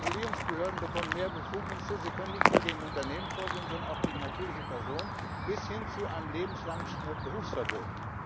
Die Regulierungsbehörden bekommen mehr Befugnisse Sie können nicht nur gegen Unternehmen vorgehen, sondern auch gegen natürliche Personen, bis hin zu einem lebenslangen Berufsverbot.